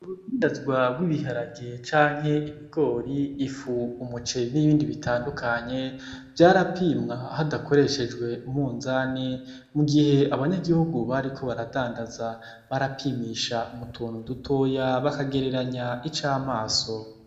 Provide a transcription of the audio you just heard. Urudandazwa rw'ibiharage canke ibigori, ifu, umuceri nibindi bitandukanye, vyarapimwa hadakoreshejwe umunzane, mu gihe abanyagihugu bariko baradandaza barapimisha mu tuntu dutoya bakagereranya icamaso.